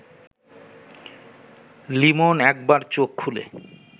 লিমন একবার চোখ খুলে